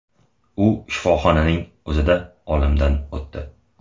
U shifoxonaning o‘zida olamdan o‘tdi .